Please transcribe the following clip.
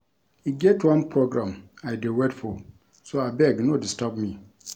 E get one program I dey wait for so abeg no disturb me